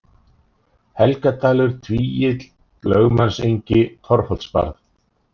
Helgadalur, Tvígil, Lögmannsengi, Torfholtsbarð